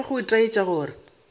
go be go itaetša gore